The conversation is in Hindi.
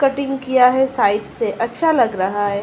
कटिंग किया है साइड से अच्छा लग रहा है।